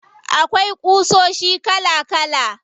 Akwai ƙusoshi kala kala.